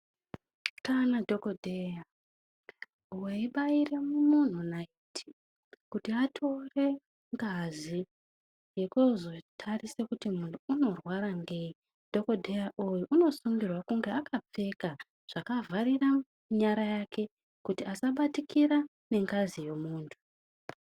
Kana dhokodheya weibaira muntu naiti eitora ngazi yekozotarisa kuti muntu unorwara ngeyi. Dhokodheya uyu unosungirwa kunge akapfeka zvakavharira nyara yake kuti asabatikira ngengazi yemuntu.